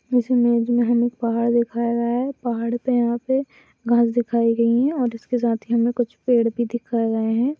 इस इमेज मे हमे पहाड़ दिखाया गया है पहाड़ पे यहाँ पे घास दिखाई गयी है और इसके साथ ही हमें कुछ पेड़ भी दिखाए गए है।